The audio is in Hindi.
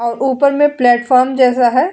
और ऊपर में प्लेटफार्म जैसा है।